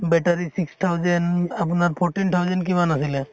battery six thousand আপোনাৰ fourteen thousand কিমান আছিলে